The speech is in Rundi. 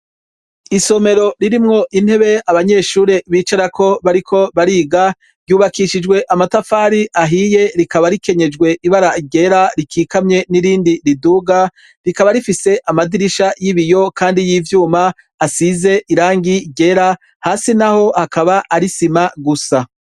Isomero ririmwo intebe abanyeshure bicarako bariko bariga, ryubakishijwe amatafari ahiye rikaba rikenyejwe ibara gera rikikamye n'irindi riduga, rikaba rifise amadirisha y'ibiyo kandi y'ivyuma, asize irangi gera hasi na ho hakaba arisima gusa.